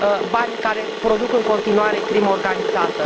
banii care produc în continuare crima organizată.